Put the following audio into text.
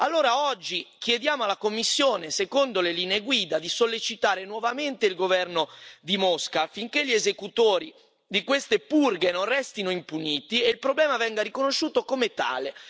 Allora, oggi, chiediamo alla Commissione, secondo le linee guida, di sollecitare nuovamente il governo di Mosca affinché gli esecutori di queste purghe non restino impuniti e il problema venga riconosciuto come tale.